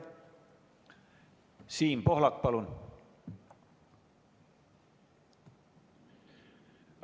Siim Pohlak, palun!